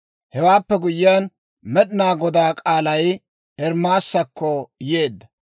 Hewaappe guyyiyaan, Med'inaa Godaa k'aalay Ermaasakko yeedda.